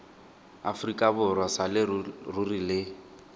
aforika borwa sa leruri le